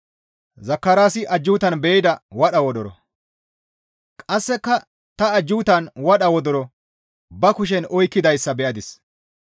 Qasseka ta ajjuutan wadha wodoro ba kushen oykkidayssa be7adis.